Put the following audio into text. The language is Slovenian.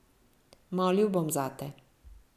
Molil bom zate.